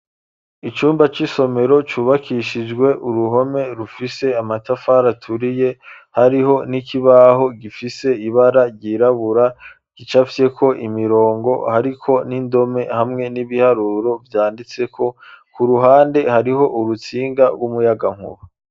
Icumba c'isomero cubakishijwe uruhome rufise amatafari aturiye hariho n'ikibaho gifise ibara ryirabura gicafyeko imirongo hariko n'indome hamwe n'ibiharuro vyanditse ko ku ruhande hariho urutsinga rw'umuyagankuba.